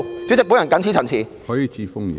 主席，我謹此陳辭。